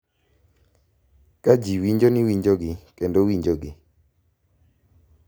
Ka ji winjo ni winjogi kendo winjogi,